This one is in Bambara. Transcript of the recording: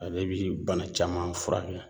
Ale bi bana caman furakɛ